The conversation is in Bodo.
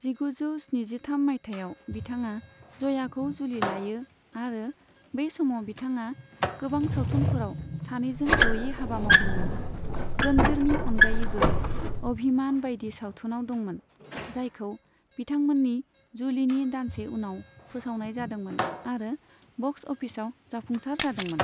जिगुजौ स्निजिथाम माइथायाव बिथांआ जयाखौ जुलि लायो आरो बै समाव बिथांआ गोबां सावथुनफोराव सानैजों जयै हाबा मावदोंमोन, जन्जीरनि अनगायैबो अभिमान बायदि सावथुनाव दंमोन, जायखौ बिथांमोननि जुलिनि दानसे उनाव फोसावनाय जादोंमोन आरो बक्स अफिसआव जाफुंसार जादोंमोन।